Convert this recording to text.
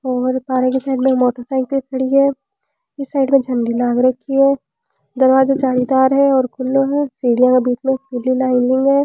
और पार्क के मोटरसाइकल खड़ी है और इस साइड में झंडी लाग रखी है दरवाजो जाली दार है और खुलो है सीढिया के बिच में पीली लाइनिंग है।